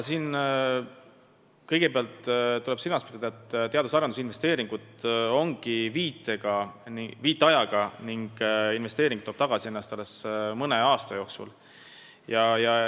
Siin tuleb kõigepealt silmas pidada, et teadus- ja arendustöö investeeringud on viitajaga: investeering tasub end ära alles mõne aasta jooksul.